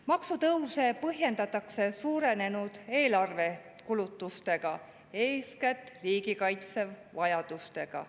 Maksutõuse põhjendatakse suurenenud eelarvekulutustega, eeskätt riigikaitse vajadustega.